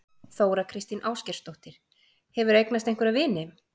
Þóra kristín Ásgeirsdóttir: Hefurðu eignast einhverja vini?